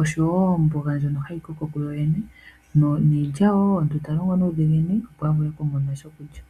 oshowo omboga ndjono hayi koko kuyoyene niilya wo omuntu talongo nuudhiginini opo avule kumona shokulya.